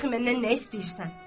Ta dəxi məndən nə istəyirsən?